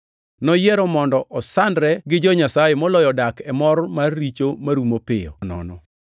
Noyiero mondo osandre gi jo-Nyasaye moloyo dak e mor mar richo marumo piyo nono.